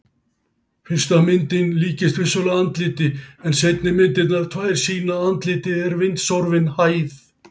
Fyrsta myndin líkist vissulega andliti en seinni myndirnar tvær sýna að andlitið er vindsorfin hæð.